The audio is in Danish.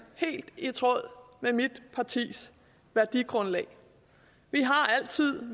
helt i tråd med mit partis værdigrundlag vi har altid